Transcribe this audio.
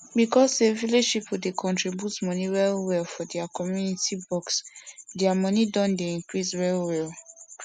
because say village pipo dey contribute money well well for their community box their money don dey increase well well